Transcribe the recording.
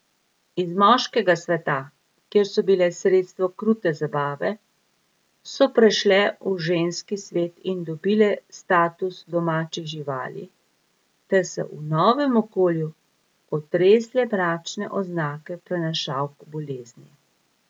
Iz moškega sveta, kjer so bile sredstvo krute zabave, so prešle v ženski svet in dobile status domačih živali ter se v novem okolju otresle mračne oznake prenašalk bolezni.